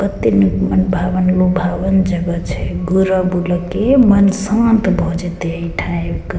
कते निक मन भावन लुभावन जगह छै बुल-बुल के मन शांत भ जेते एठा आब के।